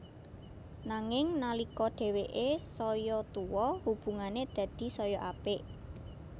Nanging nalika dhèwèké saya tuwa hubungané dadi saya apik